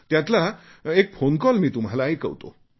त्यातला एक फोनकॉल तुम्हालाही ऐकवतो